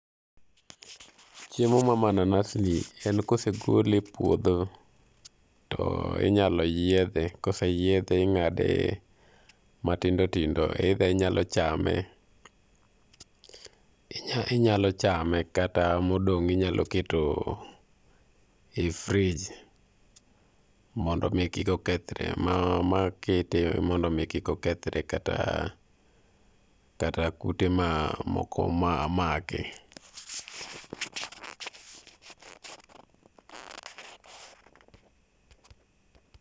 Chemo mar mananas ni en ka osegole e puodho, to inyalo yiedhe, ka oseyiedhe ing'ade matindo tindo either inyalo chame inyalo chame kata modong' inyalo keto ei frij mondo mi kik okethre kata kata kute mamoko make.